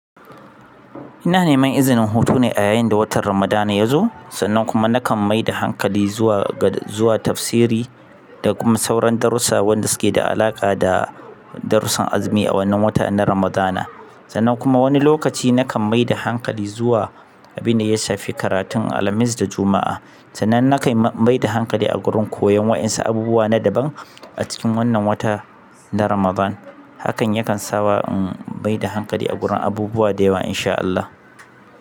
Ina neman izinin hutu ne a yayin da watan Ramadana ya zo, sannan kuma na kan maida hankali zuwa ga, zuwa tafsiri da kuma sauran darussa wanda suke da alaƙa da darussan azumi a wannan wata na Ramadana. Sannan kuma wani lokaci na kan maida hankali zuwa abin da ya shafi karatun Alhamis da Juma'a. Sannan na kan maida hankali a gurin koyon waɗansu abubuwa na daban a cikin wannan wata na Ramadan. Hakan yakan sawa in maida hankali a gurin abubuwa da yawa in sha Allah.